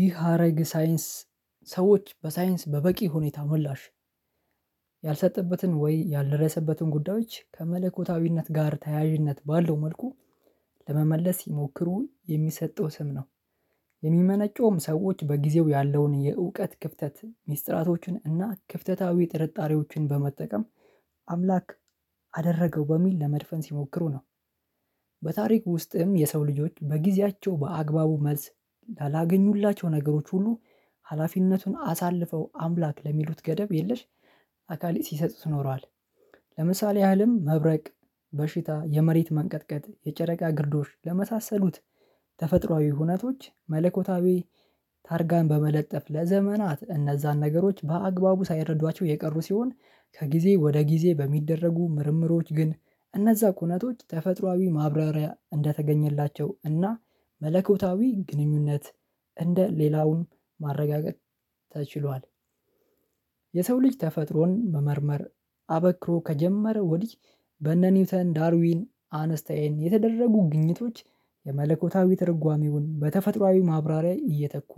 ይህ ሀረግ ሳይንስ ሰዎች በሳይንስ በበቂ ሁኔታ ምላሽ ያልሰጠበትን ወይ ያልደረሰበትን ጉዳዮች ከመለኮታዊነት ጋር ተያያዥነት ባለው መልኩ ለመመለስ ይሞክሩ የሚሰጠው ስም ነው። የሚመነጨውም ሰዎች በጊዜው ያለውን የእውቀት ክፍተት ሚስጥራቶችን እና ክፍተታዊ ጥርጣሬዎችን በመጠቀም አምላክ አደረገው በሚል ለመድፈን ሲሞክሩ ነው። በታሪክ ውስጥም የሰው ልጆች በጊዜያቸው በአግባቡ መልስ ላላገኙላቸው ነገሮች ሁሉ ሀላፊነቱን አሳልፈው አምላክ ለሚሉት ገደብ የለሽ አካሌ ሲሰጡት ኖሮዋል። ለምሳሌ ያህልም መብረቅ በሽታ የመሬት መንቀጥቀጥ የጨረቃ ግርዶሽ ለመሳሰሉት ተፈጥሮአዊ ሁኔታዎች መለኮታዊ ታርጋን በመለጠፍ ለዘመናት እነዛን ነገሮች በአግባቡ ሳይረዷቸው የቀሩ ሲሆን ከጊዜ ወደ ጊዜ በሚደረጉ ምርምሮች ግን እነዛ ኩነቶች ተፈጥሮአዊ ማብራሪያ እንደተገኘላቸው እና መለኮታዊ ግንኙነት እንደ ሌላውን ማረጋገጥ ተችሏል። የሰው ልጅ ተፈጥሮን መመርመር አበክሮ ከጀመረ ወዲህ በነ ኒውተን ዳርዊን አነስተየን የተደረጉ ግኝቶች የመለኮታዊ ትርጓሜውን በተፈጥሮአዊ ማብራሪያ እየተኩ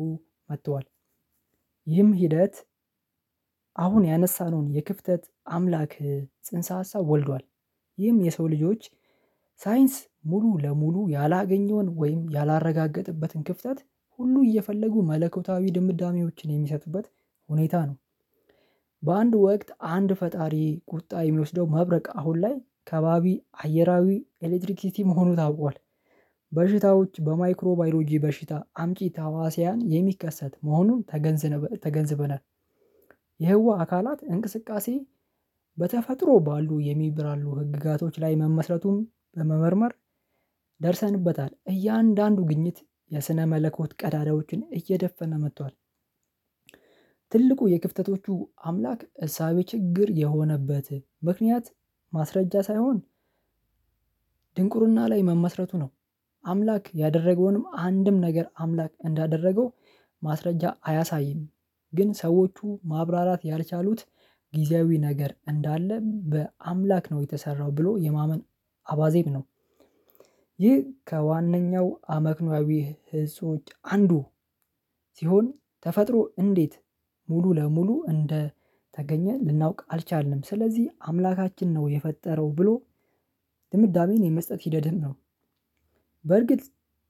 መጥተዋል። ይህም ሂደት አሁን ያነሳነውን የክፍተት አምላክ ጽንሰ ሀሳብ ወልዷል ይህም የሰው ልጆች ሳይንስ ሙሉ ለሙሉ ያላገኘውን ወይም ያላረጋገጥበትን ክፍተት ሁሉ እየፈለጉ መለኮታዊ ድምዳሜዎችን የሚሰጡበት ሁኔታ ነው። በአንድ ወቅት አንድ ፈጣሪ ቁጣ የሚወስደው መብረቅ አሁን ላይ ከባቢ አየራዊ ኤሌክትሪክ ሲቲ መሆኑ ታውቋል። በሽታዎች በማይክሮ ባዮሎጂ በሽታ አምጪ ታህዋሲያን የሚከሰት መሆኑን ተገንዝበናል። የህዋ አካላት እንቅስቃሴ በተፈጥሮ ባሉ የሚብራሉ ህግጋቶች ላይ መመስረቱን በመመርመር ደርሰንበታል። እያንዳንዱ ግኝት የስነ መለኮት ቀዳዳዎችን እየደፈነ መጥቷል። ትልቁ የክፍተቶቹ አምላክ እሳቤ ችግር የሆነበት ምክንያት ማስረጃ ሳይሆን ድንቁርና ላይ መመስረቱ ነው። አምላክ ያደረገውንም አንድም ነገር አምላክ እንዳደረገው ማስረጃ አያሳይም ግን ሰዎቹ ማብራራት ያልቻሉት ጊዜያዊ ነገር እንዳለ በአምላክ ነው የተሰራው ብሎ የማመን አባዜም ነው። ይህ ከዋነኛው አመክኖአዊ ህዝቦች አንዱ። ሲሆን ተፈጥሮ እንዴት ሙሉ ለሙሉ እንደተገኘ ልናውቅ አልቻልንም ስለዚህ አምላካችን ነው የፈጠረው ብሎ ድምዳሜን የመስጠት ሂደትም ነው። በርግጥ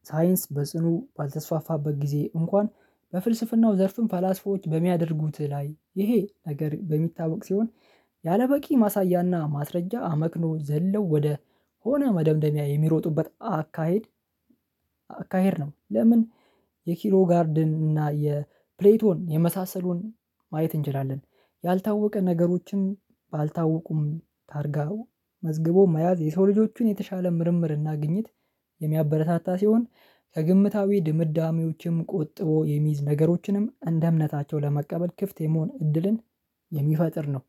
ሳይንስ በጽኑ ባልተስፋፋበት ጊዜ እንኳን በፍልስፍናው ዘርፍም ፈላስፎዎች በሚያደርጉት ላይ ይሄ ነገር በሚታወቅ ሲሆን ያለበቂ ማሳያና ማስረጃ አመክኖ ዘለው ወደ ሆነ መደምደሚያ የሚሮጡበት አካሄድ አካሄድ ነው ለምን? የኪሮ ጋርድን እና የፕሌቶን የመሳሰሉን ማየት እንችላለን። ያልታወቀ ነገሮችን ባልታወቁም ታርጋው መዝግቦ መያዝ የሰው ልጆችን የተሻለ ምርምር እና ግኝት የሚያበረታታ ሲሆን ከግምታዊ ድምዳሜዎችም ቆጥቦ የሚይዝ ነገሮችንም እንደ እምነታቸው ለመቀበል ክፍት የመሆን እድልን የሚፈጥር ነው።